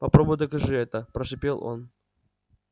попробуй докажи это прошипел он